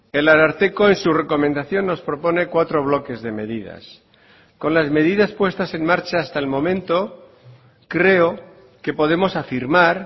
el ararteko en su recomendación nos propone cuatro bloques de medidas con las medidas puestas en marcha hasta el momento creo que podemos afirmar